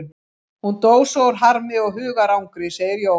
Hún dó svo úr harmi og hugarangri, segir Jón.